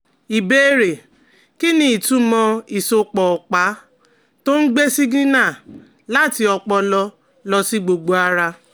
Ìbéèrè: Kí ni ìtumọ̀ ìsopọ̀ ọ̀pá tó ń gbé sígínà láti ọpọlọ lọ sí gbogbo ara?